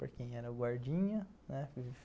Para quem era o guardinha, né?